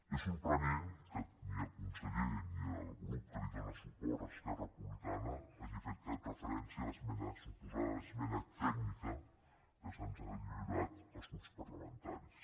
és sorprenent que ni el conseller ni el grup que li dóna suport esquerra republicana hagin fet cap referència a la suposada esmena tècnica que se’ns ha lliurat als grups parlamentaris